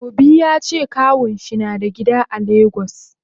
Obi yace kawunshi nada gida a lagos.